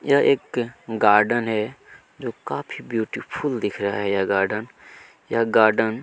यह एक गार्डन है जो काफी ब्यूटीफुल दिख रहा है गार्डन यह गार्डन --